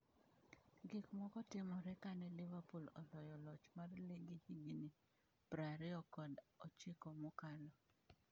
Gik moko netimore kane Liverpool oloyo loch mar ligi higni prariyo kod ochiko mokalo